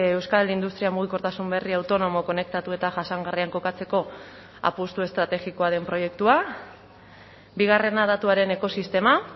euskal industria mugikortasun berri autonomo konektatu eta jasangarrian kokatzeko apustu estrategikoa den proiektua bigarrena datuaren ekosistema